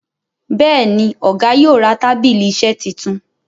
Béèni Ọgá yóò rà tábìlì iṣe títún.